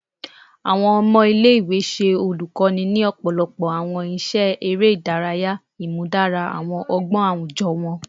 Awọn ọmọ ile-iwe ṣe olukoni ni ọpọlọpọ awọn iṣẹ ere idaraya, imudara awọn ọgbọn awujọ wọn